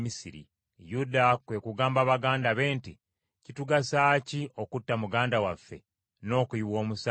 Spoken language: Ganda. Yuda kwe kugamba baganda be nti, “Kitugasa ki okutta muganda waffe n’okuyiwa omusaayi gwe?